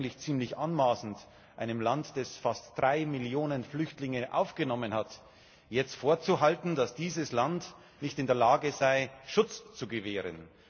Es ist eigentlich ziemlich anmaßend, einem Land, das fast drei Millionen Flüchtlinge aufgenommen hat, jetzt vorzuhalten, dass es nicht in der Lage sei, Schutz zu gewähren.